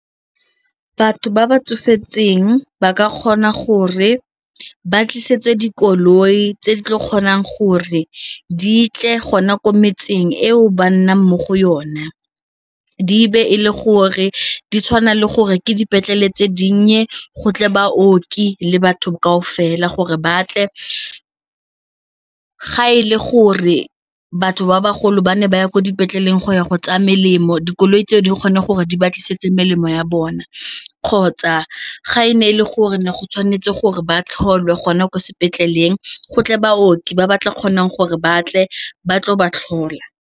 Batho ba ba tsofetseng ba ka kgona gore ba tlisetswe dikoloi tse di tla kgonang gore di tle gona ko metseng eo ba nnang mo go yona di be le gore di tshwana le gore ke dipetlele tse dinnye, go tle baoki le batho kaofela gore ba tle ga e le gore batho ba bagolo ba ne ba ya ko dipetleleng go ya go tsaya melemo, dikoloi tseo di kgone gore di ba tlisetsa melemo ya bona kgotsa ga e ne e le gore go tshwanetse gore ba tlhole gona kwa sepetleleng go tle baoki ba ba tla kgonang gore ba tle ba tlo ba tlhola.